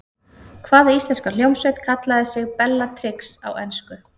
Hvaða íslenska hljómsveit kallaði sig Bellatrix á ensku?